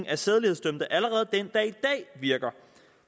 af sædelighedsdømte allerede virker